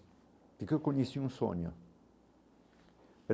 um sonho.